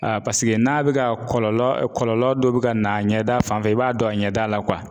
paseke n'a bɛ ka kɔlɔlɔ kɔlɔlɔ dɔ bɛ ka na a ɲɛ da fan fɛ i b'a dɔn a ɲɛda la